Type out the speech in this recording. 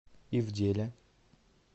ивделя